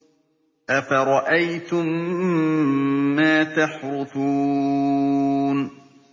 أَفَرَأَيْتُم مَّا تَحْرُثُونَ